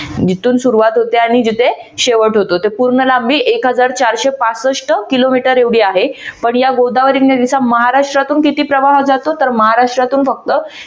जिथून सुरवात होते आणि जिथे शेवट होतो तर पूर्ण लांबी एक हजार चारशे पासष्ट किलोमीटर एवढी आहे पण या गोदावरी नदीचा महाराष्ट्रातून किती प्रवाह जातो तर महाराष्ट्रातून फक्त